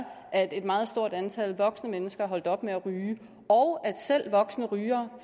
at et meget stort antal voksne mennesker er holdt op med at ryge og at selv voksne rygere